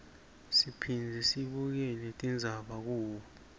siphindze sibukele tindzaba kubo